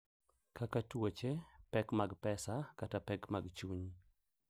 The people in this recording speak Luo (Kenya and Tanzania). Kaka tuoche, pek mag pesa, kata pek mag chuny.